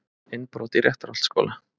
Innbrot í Réttarholtsskóla